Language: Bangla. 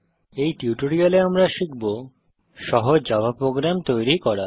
এই টিউটোরিয়ালে আমরা শিখব সহজ জাভা প্রোগ্রাম তৈরি করা